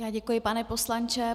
Já děkuji, pane poslanče.